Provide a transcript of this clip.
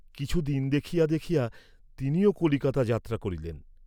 কিছু দিন দেখিয়া দেখিয়া তিনিও কলিকাতা যাত্রা করিলেন।